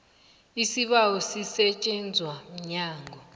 isibawo sisetjenzwa mnyango